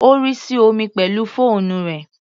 Ó rì sí omi pẹ̀lú fóònù rẹ̀.